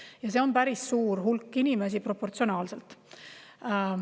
Ja see on päris suur hulk inimesi proportsionaalselt.